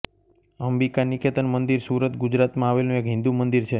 અંબિકા નિકેતન મંદિર સુરત ગુજરાતમાં આવેલું એક હિંદુ મંદિર છે